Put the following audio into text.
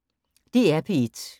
DR P1